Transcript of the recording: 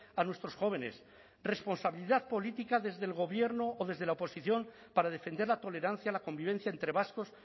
a nuestros jóvenes responsabilidad política desde el gobierno o desde la oposición para defender la tolerancia la convivencia entre vascos